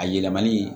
A yɛlɛmani